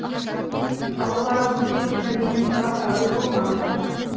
ал олардың кім екенін менен сұрап әуре болмаңдар